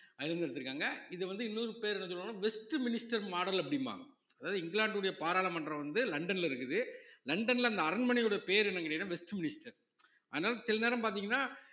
அதுல இருந்து எடுத்திருக்காங்க இது வந்து இன்னொரு பேரு என்ன சொல்லுவாங்கன்னா வெஸ்ட் மினிஸ்டர் model அப்படிம்பாங்க அதாவது இங்கிலாந்தினுடைய பாராளுமன்றம் வந்து லண்டன்ல இருக்குது லண்டன்ல அந்த அரண்மனையுடைய பேரு என்னன்னு கேட்டீங்கன்னா வெஸ்ட் மினிஸ்டர் அதனால சில நேரம் பாத்தீங்கன்னா